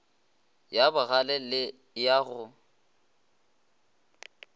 ya bagale le ya go